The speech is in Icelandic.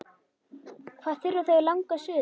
Hvað þurfa þau langa suðu?